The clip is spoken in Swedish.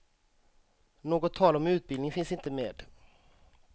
Något tal om utbildning finns inte med.